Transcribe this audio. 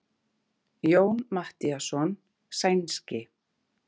Jón Matthíasson sænski.